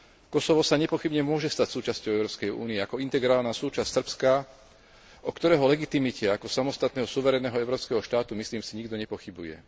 Kosovo sa nepochybne môže stať súčasťou Európskej únie ako integrálna súčasť Srbska, o ktorého legitimite ako samostatného suverénneho európskeho štátu, myslím si, nikto nepochybuje.